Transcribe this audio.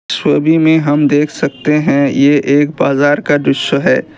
छवि मे हम देख सकते हैं ये एक बाज़ार का दृश्य है।